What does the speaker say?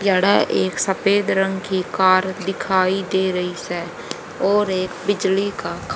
जाड़ा एक सफेद रंग की कार दिखाई दे रही से और एक बिजली का ख--